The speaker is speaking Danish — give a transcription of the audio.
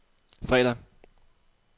fredag